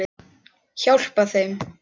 Hjálpa þeim.